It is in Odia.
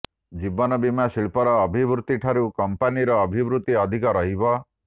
ଜୀବନ ବୀମା ଶିଳ୍ପର ଅଭିବୃଦ୍ଧିଠାରୁ କଂପାନିର ଅଭିବୃଦ୍ଧି ଅଧିକ ରହିବ